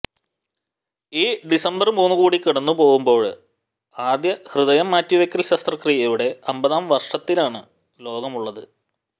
ഈ ഡിസംബര് മൂന്ന് കൂടി കടന്നുപോവുമ്പോള് ആദ്യ ഹൃദയം മാറ്റിവെയ്ക്കല് ശസ്ത്രക്രിയയുടെ അമ്പതാം വര്ഷത്തിലാണ് ലോകമുള്ളത്